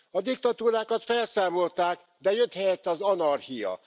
A diktatúrákat felszámolták, de jött helyette az anarchia.